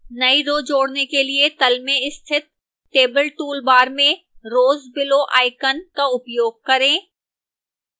नई row जोड़ने के लिए to मे स्थित table toolbar में rows below icon का उपयोग करें